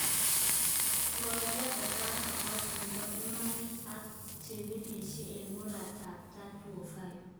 Koyan kakashin nepo imanit ak chepirishen en morat ap tai 2005.